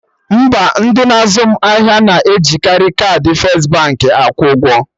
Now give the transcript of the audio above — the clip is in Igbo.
Mba, ndị na-azụ m ahịa na ejikari kaadị first Baankị akwụ ụgwọ